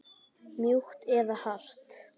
Mjúkt eða hart?